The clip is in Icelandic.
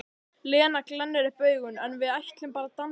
Lena glennir upp augun: En við ætlum bara að dansa.